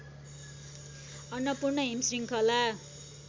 अन्नपूर्ण हिम श्रृङ्खला